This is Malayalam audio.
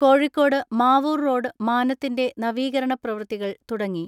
കോഴിക്കോട് മാവൂർ റോഡ് മാനത്തിന്റെ നവീകരണ പ്രവൃത്തികൾ തുടങ്ങി.